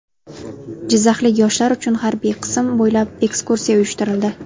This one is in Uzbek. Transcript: Jizzaxlik yoshlar uchun harbiy qism bo‘ylab ekskursiya uyushtirildi .